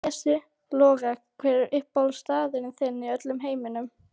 Drési Loga Hver er uppáhaldsstaðurinn þinn í öllum heiminum?